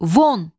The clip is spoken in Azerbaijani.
Von!